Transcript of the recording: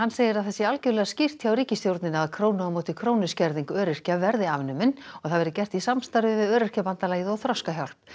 segir að það sé algjörlega skýrt hjá ríkisstjórninni að krónu á móti krónu skerðing öryrkja verði afnumin og það verði gert í samstarfi við Öryrkjabandalagið og Þroskahjálp